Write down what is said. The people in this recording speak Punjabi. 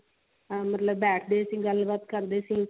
ਮਤਲਬ ਬੈਠਦੇ ਸੀ ਗੱਲ ਬਾਤ ਕਰਦੇ ਸੀ